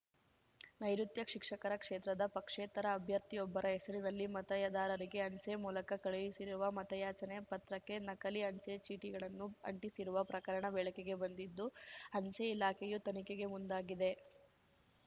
ನೈಋುತ್ಯ ಶಿಕ್ಷಕರ ಕ್ಷೇತ್ರದ ಪಕ್ಷೇತರ ಅಭ್ಯರ್ಥಿಯೊಬ್ಬರ ಹೆಸರಿನಲ್ಲಿ ಮತಯದಾರರಿಗೆ ಅಂಚೆ ಮೂಲಕ ಕಳುಹಿಸಿರುವ ಮತಯಾಚನೆ ಪತ್ರಕ್ಕೆ ನಕಲಿ ಅಂಚೆ ಚೀಟಿಗಳನ್ನು ಅಂಟಿಸಿರುವ ಪ್ರಕರಣ ಬೆಳಕಿಗೆ ಬಂದಿದ್ದು ಅಂಚೆ ಇಲಾಖೆಯು ತನಿಖೆಗೆ ಮುಂದಾಗಿದೆ